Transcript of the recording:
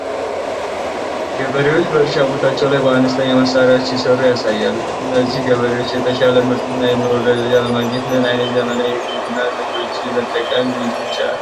ገበሬዎች በእርሻ ቦታቸው ላይ በአነስተኛ መሳሪያዎች ሲሰሩ ያሳያል። እነዚህ ገበሬዎች የተሻለ ምርትና የኑሮ ደረጃ ለማግኘት ምን ዓይነት ዘመናዊ የግብርና ዘዴዎችን መጠቀም ይችላሉ?